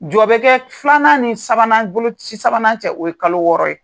Jɔ bɛ kɛ filanan ni sabanan boloci sabanan cɛ o ye kalo wɔɔrɔ ye.